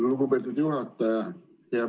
Lugupeetud juhataja!